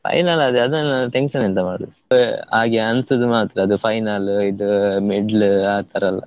Final ಆದ್ರೆ ಅದನ್ನೆಲ್ಲ tension ಎಂತ ಮಾಡುದು, ಹಾಗೆ ಅನ್ಸುದು ಮಾತ್ರ ಅದು final ಇದು middle ಆತರ ಎಲ್ಲ.